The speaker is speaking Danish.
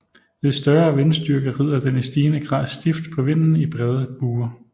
Ved større vindstyrke rider den i stigende grad stift på vinden i brede buer